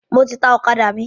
Mo ti ta ọ̀kadà mi.